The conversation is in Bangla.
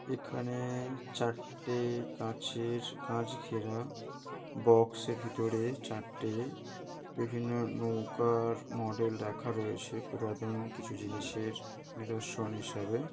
এখানে-এ চারটে-এ কাঁচ-এর কাঁচ ঘেরা। বক্সের ভেতরে চারটে বিভিন্ন নৌকার মডেল রাখা রয়েছে। পুরাতন কিছু জিনিসের নিদর্শন হিসাবে।